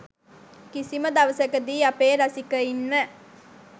කිසිම දවසකදී අපේ රසිකයින්ව